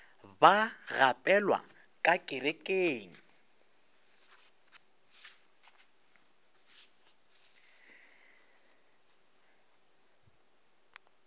ba gapelwa ka kerekeng le